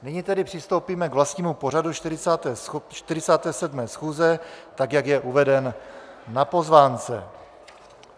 Nyní tedy přistoupíme k vlastnímu pořadu 47. schůze, tak jak je uveden na pozvánce.